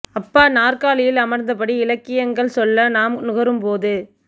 அப்பா நற்காலியில் அமர்ந்தபடி இலக்கியங்கள் சொல்ல நாம் நுகரும்போது